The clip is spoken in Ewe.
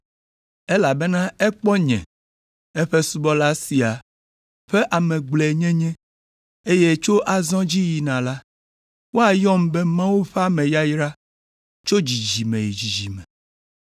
Elabena ekpɔ nye, eƒe subɔla sia ƒe ame gblɔe nyenye, eye tso azɔ dzi yina la, woayɔm be Mawu ƒe ame yayra tso dzidzime yi dzidzime.